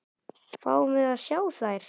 Fáum við að sjá þær?